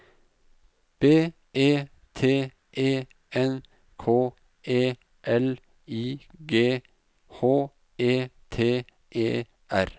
B E T E N K E L I G H E T E R